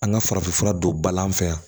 An ka farafinfura don bala an fɛ yan